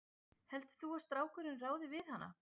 Heldur þú að strákurinn ráði við hana?